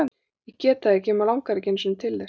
Ég get það ekki og mig langar ekki einu sinni til þess.